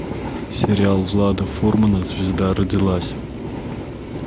сериал влада фурмана звезда родилась